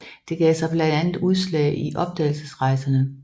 Det gav sig blandt andet udslag i opdagelsesrejserne